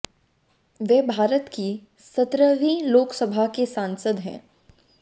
वे भारत की सत्रहवीं लोक सभा के सांसद हैं